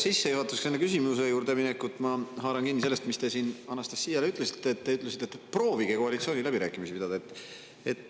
Sissejuhatuseks enne küsimuse juurde minekut haaran kinni sellest, mis te siin Anastassiale ütlesite, et proovige koalitsiooniläbirääkimisi pidada.